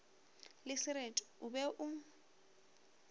le sereti o be o